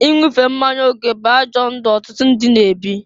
Inwufe mmanya oke bụ ajọ ndụ ọtụtụ ndị na-ebi.